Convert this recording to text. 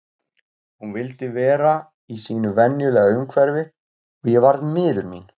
Hún vildi vera í sínu venjulega umhverfi og ég varð miður mín.